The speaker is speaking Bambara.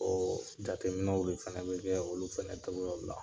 Ɔ jateminɛw de fana bɛ kɛ olu fana togoya de la.